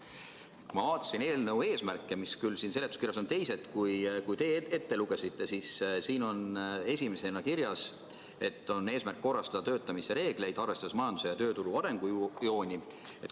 Kui ma vaatasin eelnõu eesmärke, mis küll seletuskirjas on teised kui need, mis teie ette lugesite, siis siin on esimesena kirjas, et eesmärk on korrastada töötamise reegleid, arvestades majanduse ja tööturu arengujooni.